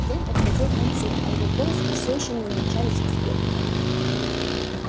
день подходил к концу а его поиски все ещё не увенчались успехом